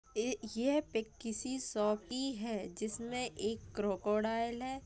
ए यह पिक किसी शॉप की है जिसमें एक क्रोकोडाइल है।